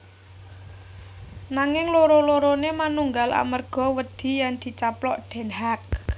Nanging loro loroné manunggal amerga wedi yèn dicaplok Den Haag